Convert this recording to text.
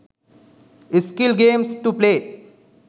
skill games to play